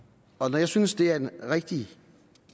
når jeg synes det er en rigtig